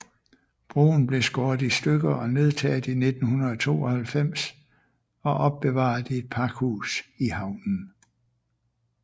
Broen blev skåret i stykket og nedtaget i 1992 og opbevaret i et pakhus i havnen